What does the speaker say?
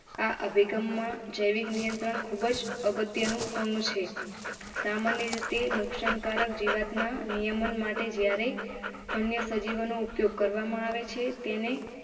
આ અભિગમમાં જૈવિક નિયંત્રણ ખૂબ અગત્યનું અંગ છે. સામાન્ય રીતે નુકસાનકારક જીવાત ના નિયમન માટે જ્યારે અન્ય સજીવનો ઉપયોગ કરવામાં આવે છે તેને.